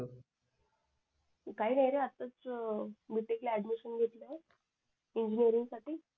काही नाही रे असच B. Tech. ला घेतलय इंजिनीरिंगसाठी